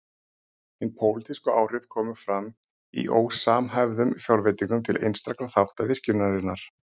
Hin pólitísku áhrif komu fram í ósamhæfðum fjárveitingum til einstakra þátta virkjunarinnar.